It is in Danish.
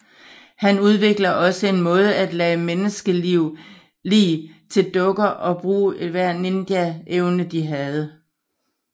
Han udvikler også en måde at lade menneske lig til dukker og bruge enhver ninja evne de havde